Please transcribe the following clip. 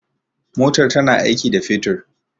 motar tana aiki da fetur